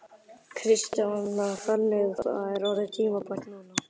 Kristjana: Þannig að það er orðið tímabært núna?